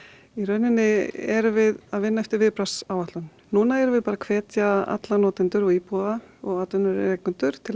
í rauninni erum við að vinna eftir viðbragðsáætlun núna erum við hvetja alla notendur íbúa og atvinnurekendur til